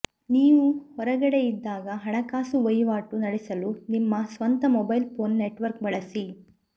ನೀವು ಹೊರಗಡೆಯಿದ್ದಾಗ ಹಣಕಾಸು ವಹಿವಾಟು ನಡೆಸಲು ನಿಮ್ಮ ಸ್ವಂತ ಮೊಬೈಲ್ ಫೋನ್ ನೆಟ್ವರ್ಕ್ ಬಳಸಿ